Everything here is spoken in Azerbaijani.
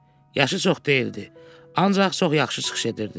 Yaşı çox deyildi, ancaq çox yaxşı çıxış edirdi.